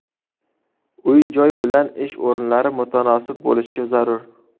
Uy-joy bilan ish o‘rinlari mutanosib bo‘lishi zarur.